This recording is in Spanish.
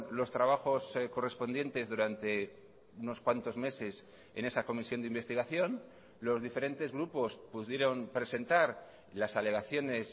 los trabajos correspondientes durante unos cuantos meses en esa comisión de investigación los diferentes grupos pudieron presentar las alegaciones